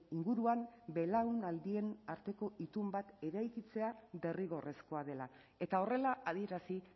inguruan belaunaldien arteko itun bat eraikitzea derrigorrezkoa dela eta horrela adierazi